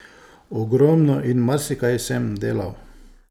Ogromno in marsikaj sem delal.